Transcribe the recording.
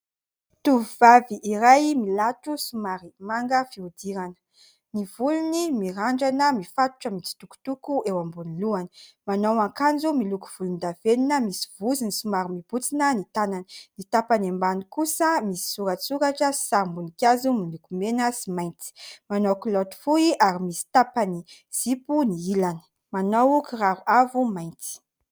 Tovovavy iray milatro, somary manga fihodirana, ny volony mirandrana mifatotra, mitsitokotoko eo ambony lohany, manao ankanjo miloko volondavenina misy vozony, somary mibontsina ny tanany, ny tapany ambany kosa misy soratsoratra sy sarim-boninkazo miloko mena sy mainty manao kilaoty fohy ary misy tapany zipo ny ilany, manao kiraro avo mainty.